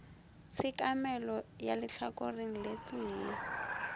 tshekamelo ka lehlakoreng le tee